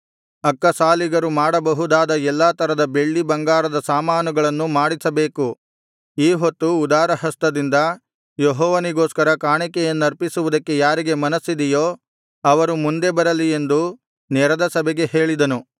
ಅಕ್ಕಸಾಲಿಗರು ಮಾಡಬಹುದಾದ ಎಲ್ಲಾ ತರದ ಬೆಳ್ಳಿ ಬಂಗಾರದ ಸಾಮಾನುಗಳನ್ನು ಮಾಡಿಸಬೇಕು ಈ ಹೊತ್ತು ಉದಾರಹಸ್ತದಿಂದ ಯೆಹೋವನಿಗೋಸ್ಕರ ಕಾಣಿಕೆಯನ್ನರ್ಪಿಸುವುದಕ್ಕೆ ಯಾರಿಗೆ ಮನಸ್ಸಿದೆಯೋ ಅವರು ಮುಂದೆ ಬರಲಿ ಎಂದು ನೆರೆದ ಸಭೆಗೆ ಹೇಳಿದನು